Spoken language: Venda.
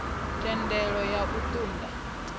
thendelo ya u ṱun ḓa